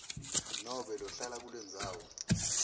nobe lohlala kulendzawo